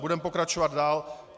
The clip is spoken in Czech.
Budeme pokračovat dál.